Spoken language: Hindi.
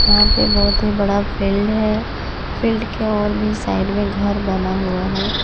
यहां पे बहोत ही बड़ा फील्ड है फील्ड के और भी साइड में घर बना हुआ है।